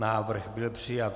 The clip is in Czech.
Návrh byl přijat.